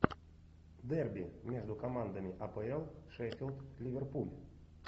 дерби между командами апл шеффилд ливерпуль